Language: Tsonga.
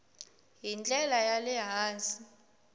hi ndlela ya le hansi